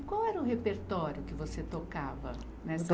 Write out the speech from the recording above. E qual era o repertório que você tocava nessa